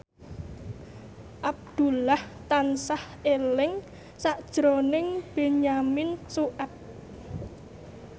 Abdullah tansah eling sakjroning Benyamin Sueb